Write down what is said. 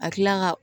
A kila la ka